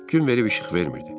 Gün verib işıq vermirdi.